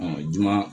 juma